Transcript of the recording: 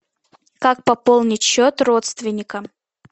как пополнить счет родственника